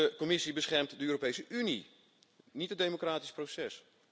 De Commissie beschermt de Europese Unie, niet het democratisch proces.